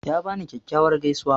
Ya bani kyakkyawar gaisuwa.